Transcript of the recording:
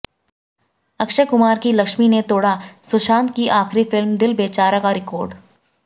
अक्षय कुमार की लक्ष्मी ने तोड़ा सुशांत की आखिरी फिल्म दिल बेचारा का रिकॉर्ड